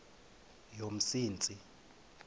yomsintsi